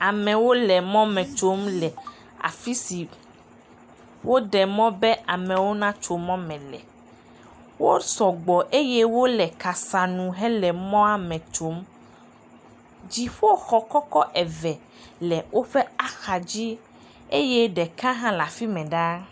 Amewo le mɔme tso le afi si woɖe mɔ be amewo natso mɔme le. Wo sɔgbɔ eye amewo le kasanu hele mɔa me tsom. Dziƒoxɔ kɔkɔ eve le woƒe axadzi eye ɖeka le afi mɛ ɖaa.